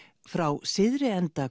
frá syðri enda